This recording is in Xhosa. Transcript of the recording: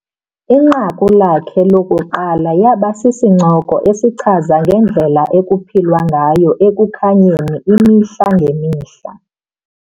Inqaku lakhe lokuqala laba sisincoko esichaza ngendlela ekuphilwa ngayo Ekukhanyeni imihla ngemihla.